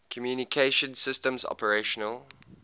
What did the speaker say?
communication systems operational